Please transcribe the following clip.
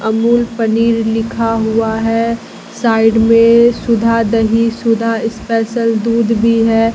अमूल पनीर लिखा हुआ है साइड में सुधा दही सुधा स्पेशल दूध भी है।